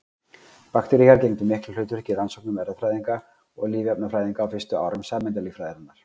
Bakteríur gegndu miklu hlutverki í rannsóknum erfðafræðinga og lífefnafræðinga á fyrstu árum sameindalíffræðinnar.